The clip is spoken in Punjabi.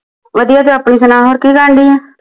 ਵਧੀਆ ਤੇ ਆਪਣੇ ਸੁਣਾ ਹੋਰ ਕਿ ਕਰਨ ਢਈ ਆ